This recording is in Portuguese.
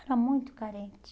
Era muito carente.